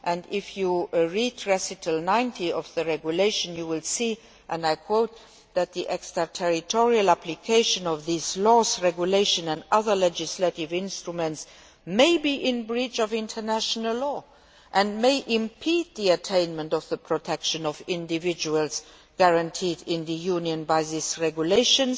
If you read Recital 90 of the Regulation you will see, and I quote, that the extraterritorial application of these laws, regulations and other legislative instruments may be in breach of international law and may impede the attainment of the protection of individuals guaranteed in the Union by this Regulation'.